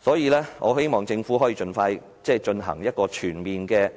所以，我希望政府可以盡快進行全面的